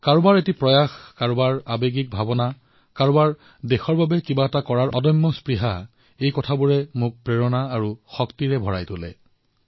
কাৰোবাৰ প্ৰয়াস কাৰোবাৰ উদ্দীপনা কাৰোবাৰ দেশৰ বাবে কিবা এটা কৰাৰ উৎসাহ এই আটাইবোৰে মোক অনুপ্ৰেৰিত কৰে শক্তিৰে ভৰাই তোলে